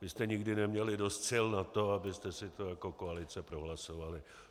Vy jste nikdy neměli dost sil na to, abyste si to jako koalice prohlasovali.